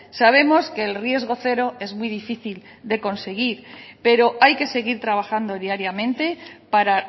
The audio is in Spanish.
sabemos que el riesgo cero es muy difícil de conseguir pero hay que seguir trabajando diariamente para